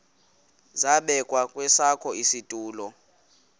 zabekwa kwesakhe isitulo